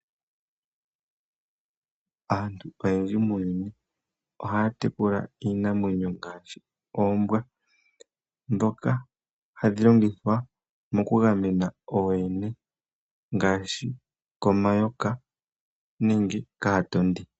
Aantu oyendji muuyuni ohaya tekula iinamwenyo ngaashi oombwa , ndhoka hadhi longithwa mokugamena ooyene ngaashi komayoka nenge kaatondi.